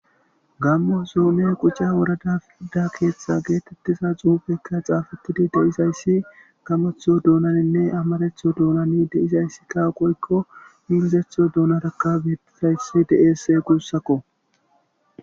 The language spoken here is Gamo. Gamo zone quca worada giza xuffeka xaafetide beetzays gamoththo doonanine amaratho doonan xafetida woyko ingilizatho doonanika beetizaysi dees gussako